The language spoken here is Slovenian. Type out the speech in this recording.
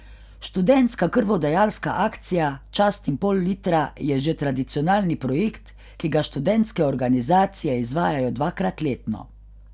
Študentska krvodajalska akcija Častim pol litra je že tradicionalni projekt, ki ga študentske organizacije izvajajo dvakrat letno.